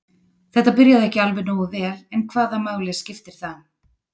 Þetta byrjaði ekki alveg nógu vel en hvaða máli skiptir það?